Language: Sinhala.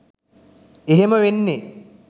එහෙම වෙන්නෙ